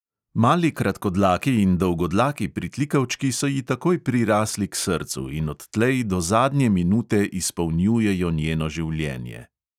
Mali kratkodlaki in dolgodlaki pritlikavčki so ji takoj prirastli k srcu in odtlej do zadnje minute izpopolnjujejo njeno življenje.